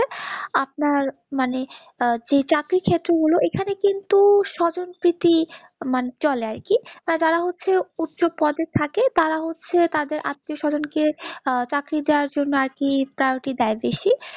আপনার মানে চাকরি ক্ষেত্রে গুলো এখানে কিন্তু স্বজনপ্রীতি চলে আরকি, তারা হচ্ছে উচ্চ পদে থাকে তারা হচ্ছে তাদের আত্মীয় সজন ক চাকরি দেওর জন্য আরকি priority দেই বেশি।